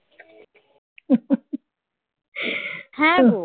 হ্যাঁ